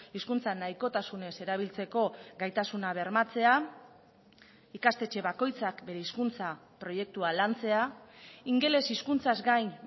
hizkuntza nahikotasunez erabiltzeko gaitasuna bermatzea ikastetxe bakoitzak bere hizkuntza proiektua lantzea ingeles hizkuntzaz gain